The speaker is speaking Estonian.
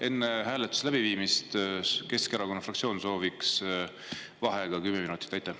Enne hääletuse läbiviimist soovib Keskerakonna fraktsioon kümme minutit vaheaega.